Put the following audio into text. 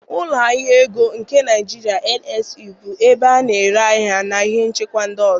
Ụlọ ahịa ego nke Nigeria (NSE) bụ ebe a na-ere ahịa na ihe nchekwa ndị ọzọ.